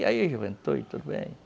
tudo bem.